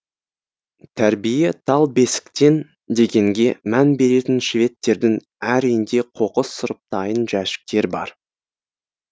тәрбие тал бесіктен дегенге мән беретін шведтердің әр үйінде қоқыс сұрыптайын жәшіктер бар